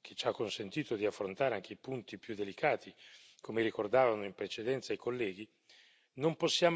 che ci ha consentito di affrontare anche i punti più delicati, come ricordavano in precedenza i colleghi, non possiamo considerarla negativamente.